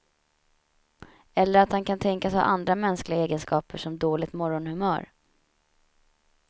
Eller att han kan tänkas ha andra mänskliga egenskaper som dåligt morgonhumör.